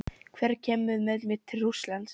Hver kemur með mér til Rússlands?